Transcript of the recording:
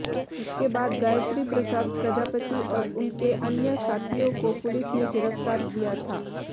उसके बाद गायत्री प्रसाद प्रजापति और उनके अन्य साथियों को पुलिस ने गिरफ्तार किया था